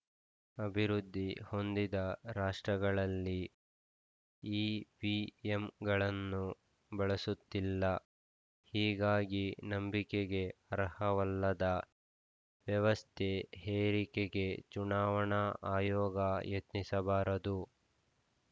ಅಭಿವೃದ್ಧಿ ಹೊಂದಿದ ರಾಷ್ಟ್ರಗಳಲ್ಲೇ ಇವಿಎಂಗಳನ್ನು ಬಳಸುತ್ತಿಲ್ಲ ಹೀಗಾಗಿ ನಂಬಿಕೆಗೆ ಅರ್ಹವಲ್ಲದ ವ್ಯವಸ್ಥೆ ಹೇರಿಕೆಗೆ ಚುನಾವಣಾ ಆಯೋಗ ಯತ್ನಿಸಬಾರದು